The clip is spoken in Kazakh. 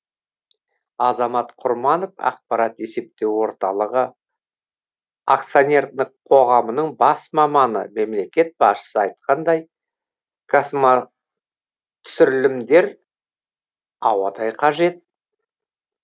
азамат құрманов ақпараттық есептеу орталығы акционерлік қоғамының бас маманы мемлекет басшысы айтқандай космотүсірілімдер ауадай қажет